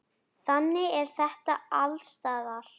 Þannig er þetta alls staðar.